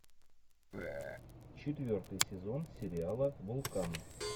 четвертый сезон сериала вулкан